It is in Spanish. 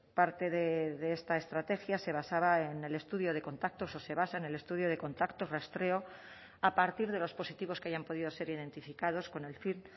parte de esta estrategia se basaba en el estudio de contactos o se basa en el estudio de contactos rastreo a partir de los positivos que hayan podido ser identificados con el fin